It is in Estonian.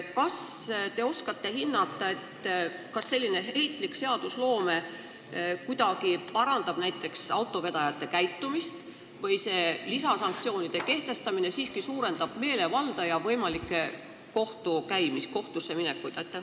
Kas te oskate hinnata, kas selline riigi seadusloome parandab kuidagi näiteks autovedajate käitumist või lisasanktsioonide kehtestamine siiski suurendab meelevalda ja võimalikke kohtusse minekuid?